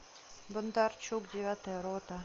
бондарчук девятая рота